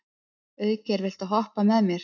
Auðgeir, viltu hoppa með mér?